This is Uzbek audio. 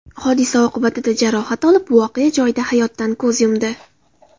hodisa oqibatida jarohat olib, voqea joyida hayotdan ko‘z yumdi.